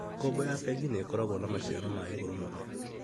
Ngombo ya bengi nĩkoragwo na maciaro ma iguru muno